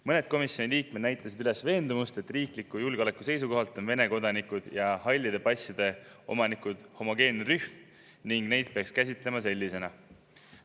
Mõned komisjoni liikmed näitasid üles veendumust, et riikliku julgeoleku seisukohalt on Vene kodanikud ja hallide passide omanikud homogeenne rühm ning neid peaks sellisena käsitlema.